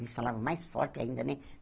Eles falavam mais forte ainda, né?